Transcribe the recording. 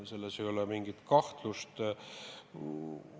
Selles ei ole mingit kahtlust.